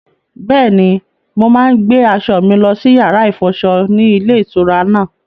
Bẹ́ẹ̀ni, mo máa ń gbé aṣọ mi lọ sí yàrá-ìfọṣọ ní ilé-ìtura náà.